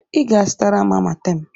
Ị ga-azụtara m Amatem!